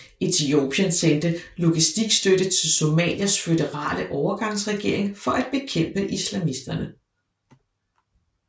Etiopien sendte logistikstøtte til Somalias føderale overgangsregering for at bekæmpe islamisterne